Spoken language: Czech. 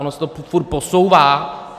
Ono se to furt posouvá.